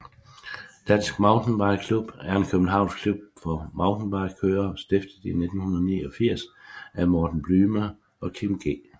Dansk Mountainbike Klub er en københavnsk klub for mountainbikekørere stiftet i 1989 af Morten Blyme og Kim G